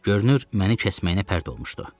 Görünür məni kəsməyinə pərt olmuşdu.